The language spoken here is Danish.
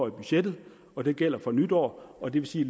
i budgettet og den gælder fra nytår og det vil sige